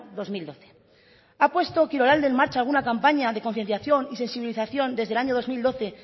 dos mil doce ha puesto kirolalde en marcha alguna campaña de concienciación y sensibilización desde el año dos mil doce